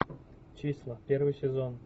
числа первый сезон